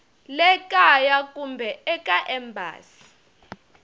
le kaya kumbe eka embasi